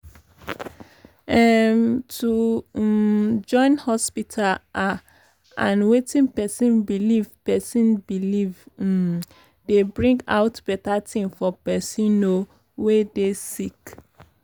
em- to um join hospita ah and wetin pesin belief pesin belief um dey bring out beta tin for pesin um wey dey sick